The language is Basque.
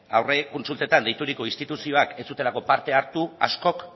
aurre kontsultetan deituriko instituzioak ez zutelako parte hartu askok